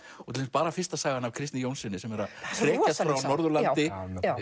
til dæmis bara fyrsta sagan af Kristni Jónssyni sem er að hrekjast frá Norðurlandi